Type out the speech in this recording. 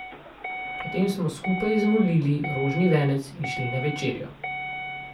Potem smo skupaj zmolili rožni venec in šli na večerjo.